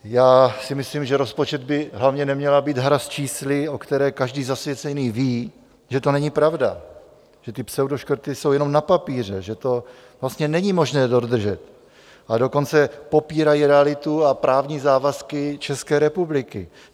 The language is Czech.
Já si myslím, že rozpočet by hlavně neměl být hra s čísly, o které každý zasvěcený ví, že to není pravda, že ty pseudoškrty jsou jenom na papíře, že to vlastně není možné dodržet, a dokonce popírají realitu a právní závazky České republiky.